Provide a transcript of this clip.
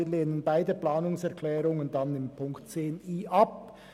Wir lehnen beide Planungserklärungen betreffend 10.i ab.